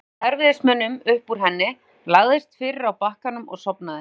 Hann komst með erfiðismunum upp úr henni, lagðist fyrir á bakkanum og sofnaði.